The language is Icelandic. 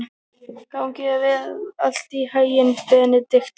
Gangi þér allt í haginn, Benidikta.